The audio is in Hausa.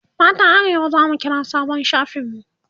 matan arewa zamu kira sabon shafin mu